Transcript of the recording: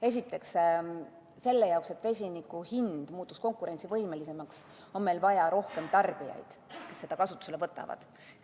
Esiteks, selle jaoks, et vesiniku hind muutuks konkurentsivõimelisemaks, on meil vaja rohkem tarbijaid, kes selle kasutusele võtavad.